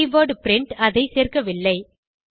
keyword print அதை சேர்க்கவில்லை